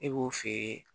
Ne b'o feere